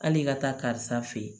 Hali i ka taa karisa fɛ yen